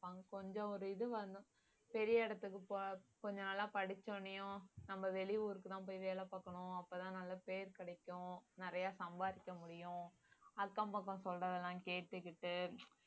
பார்ப்பாங்க கொஞ்சம் ஒரு இதுவா இருந்தா பெரிய இடத்துக்கு கொ~ கொஞ்ச நாளா படிச்ச உடனேயும் நம்ம வெளி ஊருக்கு தான் போய் வேலை பாக்கணும் அப்பதான் நல்ல பெயர் கிடைக்கும் நிறைய சம்பாதிக்க முடியும் அக்கம் பக்கம் சொல்றதெல்லாம் கேட்டுகிட்டு